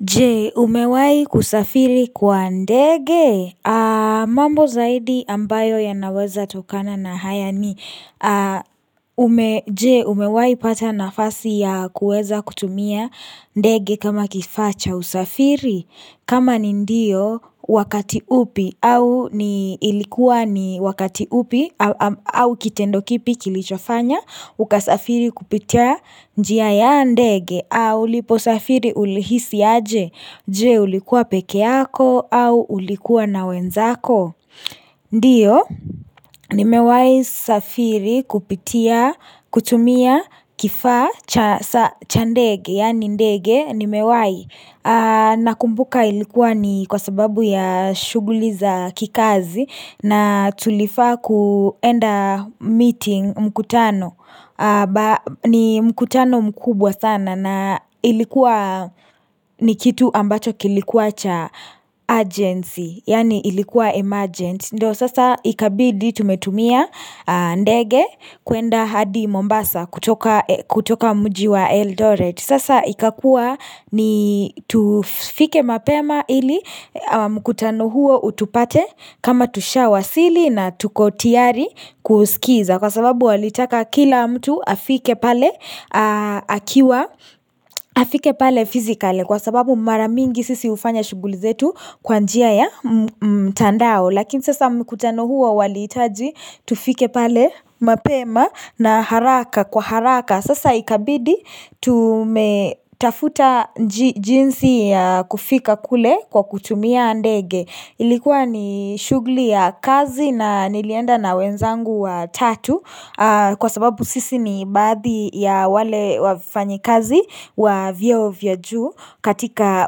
Je umewahi kusafiri kwa ndege mambo zaidi ambayo yanaweza tokana na haya ni Je umewahi pata nafasi ya kueza kutumia ndege kama kifaa cha usafiri kama ni ndio wakati upi au ni ilikuwa ni wakati upi au kitendo kipi kilichofanya Ukasafiri kupitia njia ya ndege uliposafiri ulihisi aje Je ulikuwa pekee yako au ulikuwa na wenzako Ndio, nimewahi safiri kupitia kutumia kifaa cha ndege yaani ndege nimewahi Nakumbuka ilikuwa ni kwa sababu ya shughuli za kikazi na tulifaa kuenda meeting mkutano ni mkutano mkubwa sana na ilikuwa ni kitu ambacho kilikuwa cha urgency Yaani ilikuwa emergent Ndio sasa ikabidi tumetumia ndege kuenda hadi Mombasa kutoka mji wa eldoret Sasa ikakuwa ni tufike mapema ili mkutano huo utupate kama tushawasili na tuko tiyari kusikiza Kwa sababu walitaka kila mtu afike pale akiwa afike pale physically Kwa sababu mara mingi sisi hufanya shughul izetu kwa njia ya mtandao Lakini sasa mkutano huo walihitaji tufike pale mapema na haraka kwa haraka Sasa ikabidi tumetafuta jinsi ya kufika kule kwa kutumia ndege Ilikuwa ni shughuli ya kazi na nilienda na wenzangu wa tatu Kwa sababu sisi ni baadhi ya wale wafanyikazi wa vyeo vya juu katika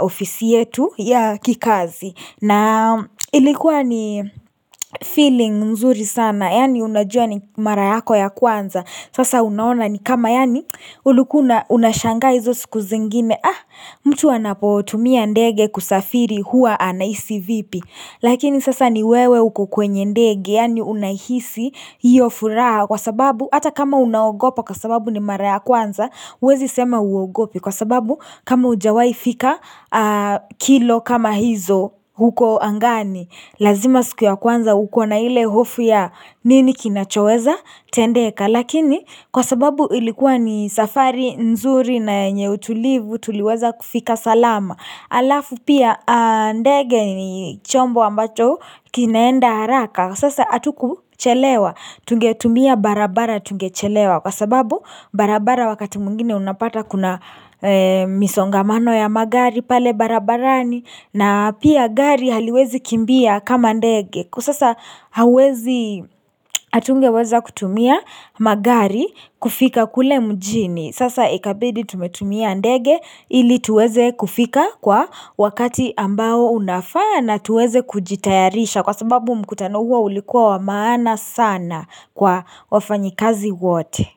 ofisi yetu ya kikazi na ilikuwa ni feeling mzuri sana Yaani unajua ni mara yako ya kwanza Sasa unaona ni kama yaani ulikuwa una unashanga hizo siku zingine Ah mtu anapotumia ndege kusafiri huwa anahisi vipi Lakini sasa ni wewe uko kwenye ndege yani unahisi hiyo furaha kwa sababu hata kama unaogopa kwa sababu ni mara ya kwanza huwezi sema huogopi kwa sababu kama hujawahi fika kilo kama hizo huko angani lazima siku ya kwanza uko na ile hofu ya nini kinachowezatendeka. Lakini kwa sababu ilikuwa ni safari nzuri na yenye utulivu tuliweza kufika salama. Alafu pia ndege ni chombo ambacho kinaenda haraka. Sasa atuku chelewa, tungetumia barabara tungechelewa. Kwa sababu barabara wakati mwingine unapata kuna misongamano ya magari pale barabarani na pia gari haliwezi kimbia kama ndege. Kwa sasa hauwezi atungeweza kutumia magari kufika kule mjini Sasa ikabidi tumetumia ndege ili tuweze kufika kwa wakati ambao unafaa na tuweze kujitayarisha Kwa sababu mkutano huo ulikuwa wa maana sana kwa wafanyikazi wote.